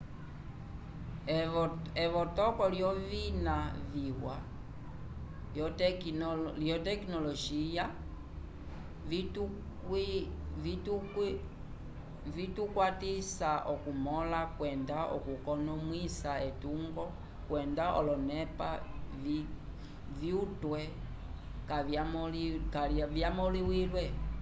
evotoko lyovina viwa vyotekinolojiya vitukwatisa okumõla kwenda okukonomwisa etungo kwenda olonepa vyutwe kavyamõliwile